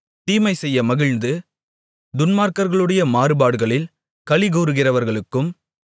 தீமைசெய்ய மகிழ்ந்து துன்மார்க்கர்களுடைய மாறுபாடுகளில் களிகூருகிறவர்களுக்கும்